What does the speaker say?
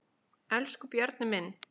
Elsku Bjarni minn.